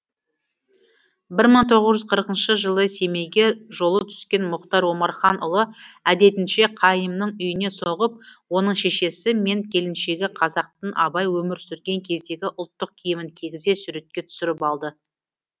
бір мың тоғыз жүз қырықыншы жылы семейге жолы түскен мұхтар омарханұлы әдетінше қайымның үйіне соғып оның шешесі мен келіншегін қазақтың абай өмір сүрген кездегі ұлттық киімін кигізе суретке түсіріп алды